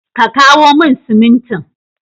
Ka kawo min simin tin.